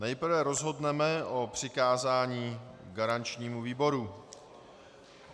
Nejprve rozhodneme o přikázání garančnímu výboru.